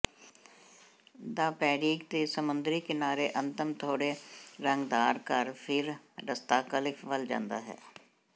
ਦ ਪੈਰੀਗ ਦੇ ਸਮੁੰਦਰੀ ਕਿਨਾਰੇ ਅੰਤਮ ਥੋੜੇ ਰੰਗਦਾਰ ਘਰ ਫਿਰ ਰਸਤਾ ਕਲਿਫ ਵੱਲ ਜਾਂਦਾ ਹੈ